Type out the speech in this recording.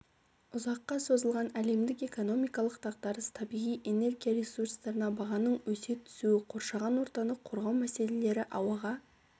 ұзаққа созылған әлемдік экономикалық дағдарыс табиғи энергия ресурстарына бағаның өсе түсуі қоршаған ортаны қорғау мәселелері ауаға